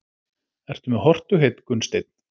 Ertu með hortugheit Gunnsteinn?